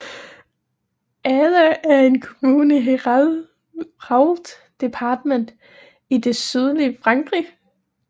Agde er en kommune i Hérault departmentet i det sydlige Frankrig